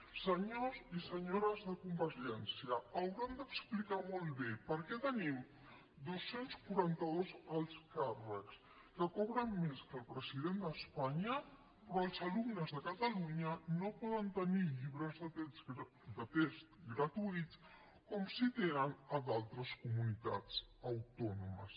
senyors i senyores de convergència hauran d’explicar molt bé per què tenim dos cents i quaranta dos alts càrrecs que cobren més que el president d’espanya però els alumnes de catalunya no poden tenir llibres de text gratuïts com sí que tenen a d’altres comunitats autònomes